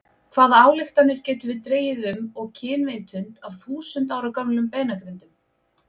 Hvaða ályktanir getum við dregið um og kynvitund af þúsund ára gömlum beinagrindum?